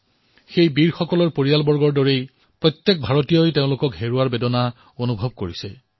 এই বন্ধুসকলৰ পৰিয়ালৰ দৰে প্ৰতিজন ভাৰতীয়ই এওঁলোকক হেৰুওৱাৰ দুখ অনুভৱ কৰিছে